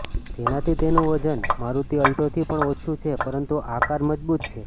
જેનાથી તેનું વજન મારૂતિ અલ્ટોથી પણ ઓછુ છે પરંતુ આ કાર મજબુત છે